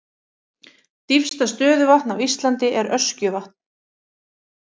Dýpsta stöðuvatn á Íslandi er Öskjuvatn.